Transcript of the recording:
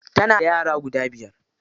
Tana da yara guda biyar.